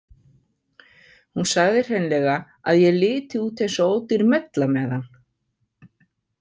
Hún sagði hreinlega að ég liti út eins og ódýr mella með hann.